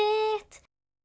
þitt